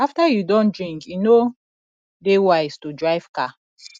after you don drink e no dey wise to drive car